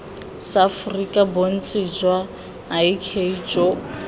seaforika bontsi jwa ik jo